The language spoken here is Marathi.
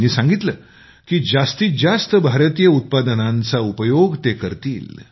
त्यांनी सांगितलं की जास्तीत जास्त भारतीय उत्पादनांचा उपयोग ते करतील